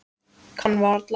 Kann varla.